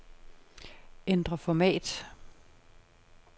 Ændr format.